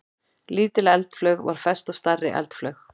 Lítil eldflaug var fest á stærri eldflaug.